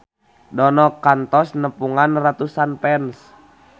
Dono kantos nepungan ratusan fans